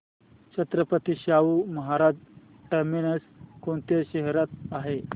Chhatrapati Shahu Maharaj terminus कोणत्या शहरात आहे